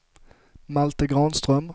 Malte Granström